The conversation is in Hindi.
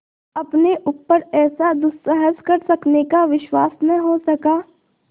अपने ऊपर ऐसा दुस्साहस कर सकने का विश्वास न हो सका